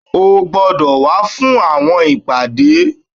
o gbọdọ wá fún àwọn ìpàdé